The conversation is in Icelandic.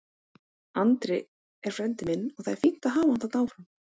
Andri er frændi minn og það er fínt að hafa hann þarna áfram.